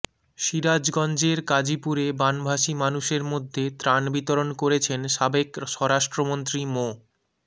সিরাজগঞ্জের কাজিপুরে বানভাসি মানুষের মধ্যে ত্রাণ বিতরণ করেছেন সাবেক স্বরাষ্ট্রমন্ত্রী মো